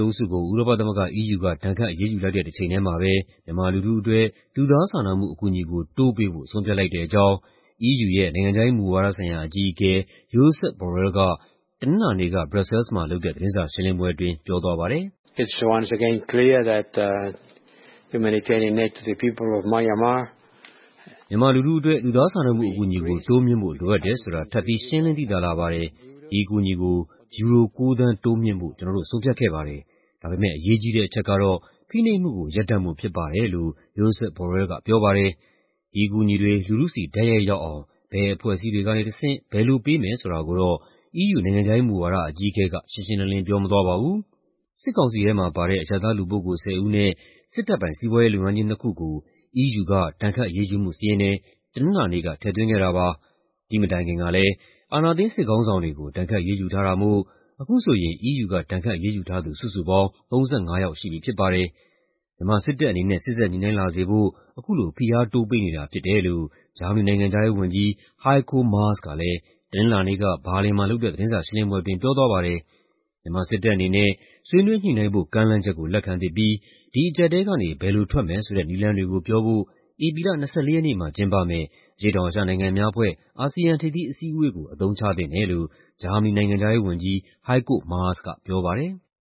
အုပ်စုကို ဥရောပသမဂ္ဂ (EU) က ဒဏ်ခတ်အရေးယူလိုက်တဲ့ တချိန်ထဲမှာပဲ မြန်မာလူထုအတွက် လူသားစာနာမှုအကူအညီကို တိုးပေးဖို့ ဆုံးဖြတ်လိုက်တဲ့အကြောင်း EU ရဲ့ နိုင်ငံခြားရေးမူဝါဒဆိုင်ရာအကြီးအကဲ Josep Borrell က တနင်္လာနေ့က ဘရပ်ဆဲလ်စ်မှာလုပ်တဲ့ သတင်းစာရှင်းလင်းပွဲအတွင်း ပြောသွားပါတယ်။ "မြန်မာလူထုအတွက် လူသားစာနာမှု အကူအညီကို တိုးမြှင့်ဖို့ လိုအပ်တယ်ဆိုတာ ထပ်ပြီး ရှင်းလင်းသိသာလာပါတယ်။ ဒီအကူအညီကို ယူရို ၉ သန်း တိုးမြှင့်ဖို့ ကျနော်တို့ ဆုံးဖြတ်ခဲ့ပါတယ်။ ဒါပေမဲ့ အရေးကြီးတဲ့ အချက်ကတော့ ဖိနှိပ်မှုကို ရပ်တန့်ဖို့ဖြစ်ပါတယ်။" လို့ Josep Borrell ကပြောပါတယ်။ ဒီအကူအညီတွေ လူထုဆီ တိုက်ရိုက်ရောက်အောင် ဘယ်အဖွဲ့အစည်းတွေကနေတဆင့်၊ ဘယ်လိုပေးမယ်ဆိုတာကိုတော့ EU နိုင်ငံခြားရေးမူဝါဒ အကြီးအကဲက ရှင်းရှင်းလင်းလင်း ပြောမသွားပါဘူး။ စစ်ကောင်စီထဲမှာပါတဲ့ အရပ်သား လူပုဂ္ဂိုလ် ၁၀ ဦးနဲ့ စစ်တပ်ပိုင် စီးပွားရေးလုပ်ငန်းကြီးနှစ်ခုကို EU ဒဏ်ခတ်အရေးယူမှုစာရင်းထဲ တနင်္လာနေ့က ထည့်သွင်းခဲ့တာပါ။ ဒီ့မတိုင်ခင်ကလည်း အာဏာသိမ်း စစ်ခေါင်းဆောင်တွေကို ဒဏ်ခတ်အရေးယူထားတာမို့ အခုဆိုရင် EU က ဒဏ်ခတ်အရေးယူထားသူ စုစုပေါင်း ၃၅ ယောက်ရှိပြီဖြစ်ပါတယ်။ မြန်မာစစ်တပ်အနေနဲ့ စေ့စပ်ညှိနှိုင်းလာစေဖို့ အခုလို ဖိအားတိုးပေးနေတာဖြစ်တယ်လို့ ဂျာမနီနိုင်ငံခြားရေးဝန်ကြီး Heiko Maas ကလည်း တနင်္လာနေ့က ဘာလင်မှာလုပ်တဲ့ သတင်းစာရှင်းလင်းပွဲအတွင်း ပြောသွားပါတယ်။ မြန်မာစစ်တပ်အနေနဲ့ ဆွေးနွေးညှိနှိုင်းဖို့ ကမ်းလှမ်းချက်ကို လက်ခံသင့်ပြီး ဒီအကြပ်အတည်းကနေ ဘယ်လိုထွက်မယ်ဆိုတဲ့ နည်းလမ်းတွေကိုပြောဖို့ ဧပြီလ ၂၄ ရက်နေ့မှာ ကျင်းပမယ့် အရှေ့တောင်အာရှနိုင်ငံများအဖွဲ့ (ASEAN) ထိပ်သီးအစည်းအဝေးကို အသုံးချသင့်တယ်လို့ ဂျာမနီနိုင်ငံခြားရေးဝန်ကြီး Heiko Maas ကပြောပါတယ်။